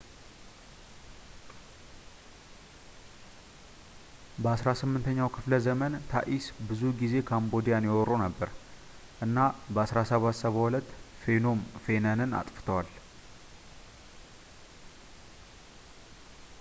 በ 18ኛው ክፍለዘመን ታኢስ ብዙ ጊዜ ካምቦዲያን ይወሩ ነበር እና በ 1772 ፌኖም ፌነንን አጥፍተዋል